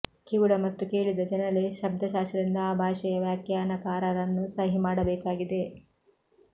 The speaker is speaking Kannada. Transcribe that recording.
ಕಿವುಡ ಮತ್ತು ಕೇಳಿದ ಜನರಲ್ಲಿ ಶಬ್ದಶಾಸ್ತ್ರದಿಂದ ಆ ಭಾಷೆಯ ವ್ಯಾಖ್ಯಾನಕಾರರನ್ನು ಸಹಿ ಮಾಡಬೇಕಾಗಿದೆ